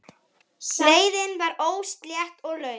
Leiðin var óslétt og löng.